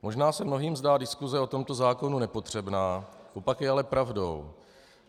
Možná se mnohým zdá diskuse o tomto zákonu nepotřebná, opak je ale pravdou.